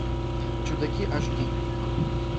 чудаки аш ди